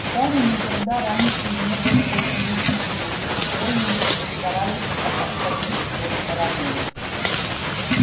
гарри никогда раньше не был в кабинете филча школьники старались обходить его стороной